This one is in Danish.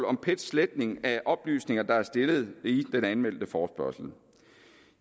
om pets sletning af oplysninger der er stillet i den anmeldte forespørgsel